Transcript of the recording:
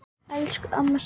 Elsku amma Sigga.